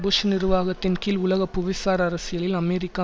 push நிர்வாகத்தின் கீழ் உலக புவிசார் அரசியலில் அமெரிக்கா